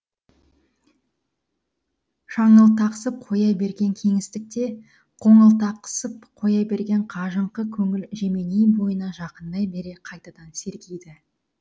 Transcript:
шаңылтақсып қоя берген кеңістікте қоңылтақсып қоя берген қажыңқы көңіл жеменей бойына жақындай бере қайтадан сергиді